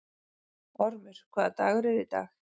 Ormur, hvaða dagur er í dag?